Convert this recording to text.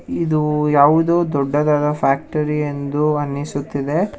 ಇದು ಯಾವುದೊ ದೊಡ್ಡಾದಾದ ಫ್ಯಾಕ್ಟರಿ ಎಂದು ಅನ್ನಿಸುತ್ತಿದೆ.